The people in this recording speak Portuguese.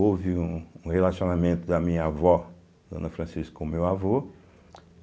Houve um um relacionamento da minha avó, Dona Francisca, com o meu avô.